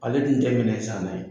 Ale dun minɛnsanna ye